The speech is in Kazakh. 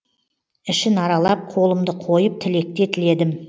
ішін аралап қолымды қойып тілекте тіледім